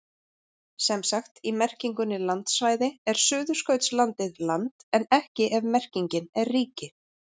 Sem sagt, í merkingunni landsvæði er Suðurskautslandið land en ekki ef merkingin er ríki.